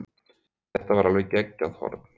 Þetta var alveg geggjað horn.